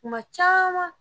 tuma caman